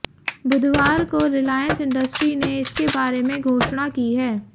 बुधवार को रिलायंस इंडस्ट्री ने इसके बारे में घोषणा की है